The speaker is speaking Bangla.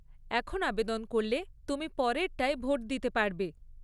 এখন আবেদন করলে তুমি পরেরটায় ভোট দিতে পারবে।